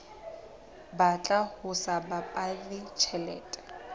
batla ho sa baballe tjhelete